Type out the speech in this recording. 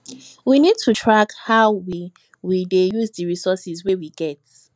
we need to track how we we dey use di resources wey we get